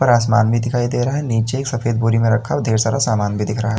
आसमान भी दिखाई दे रहा है। नीचे सफेद बोरी में रखा और ढेर सारा सामान भी दिख रहा है।